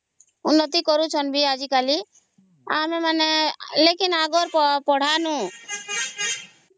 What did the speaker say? ବୋଲି ଉନ୍ନତି କରୁଛନ୍ତି ଆଜି କାଲି ଆଉ ଆମେ ମାନେ ଲେକିନ ଅଗର ପଢ଼ାର ନୁ